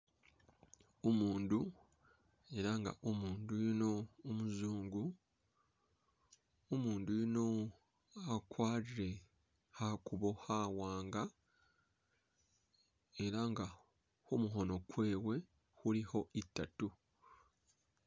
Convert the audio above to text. Umundu ela nga umundu yuno umuzungu, umundu yuno akwalire khakuubo khawaanga ela nga khumukhoono kwewe khulikho i'tatu